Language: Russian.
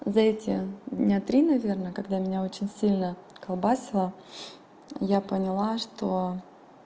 за эти дня три наверное когда меня очень сильно колбасило я поняла что